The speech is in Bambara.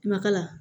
Makala